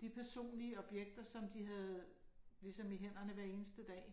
de personlige objekter, som de havde ligesom i hænderne hver eneste dag